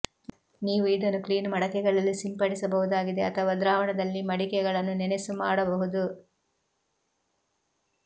ನೀವು ಇದನ್ನು ಕ್ಲೀನ್ ಮಡಕೆಗಳಲ್ಲಿ ಸಿಂಪಡಿಸಬಹುದಾಗಿದೆ ಅಥವಾ ದ್ರಾವಣದಲ್ಲಿ ಮಡಿಕೆಗಳನ್ನು ನೆನೆಸು ಮಾಡಬಹುದು